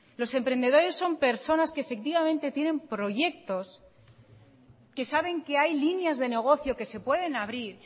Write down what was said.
los emprendedores son personas que efectivamente tienen proyectos que saben que hay líneas de negocio que se pueden abrir